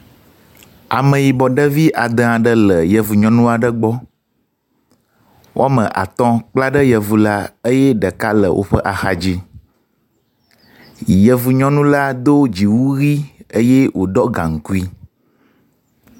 Ameyibɔ ɖevi ade aɖe le yevu nyɔnu aɖe gbɔ. Wɔme atɔ̃ kpla ɖe yevu la eye ɖeka le woƒe axadzi. Yevu nyɔnu la do dziwu ʋi eye woɖɔ gaŋkui.